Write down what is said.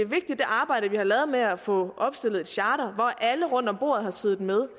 arbejde vi har lavet med at få opstillet et charter hvor alle rundt om bordet har siddet med